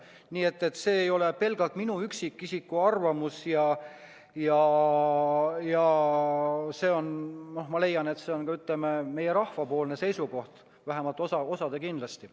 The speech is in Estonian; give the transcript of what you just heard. Nii et see ei ole pelgalt minu kui üksikisiku arvamus, vaid ma leian, et see on meie rahva seisukoht, vähemalt osa seisukoht kindlasti.